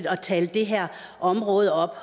at tale det her område op